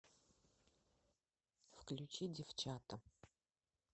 включи девчата